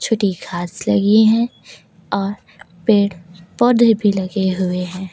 छोटी घास लगी हैं और पेड़ पौधे भी लगे हुए हैं।